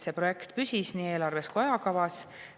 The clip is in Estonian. See projekt püsis nii eelarves kui ka ajakavas.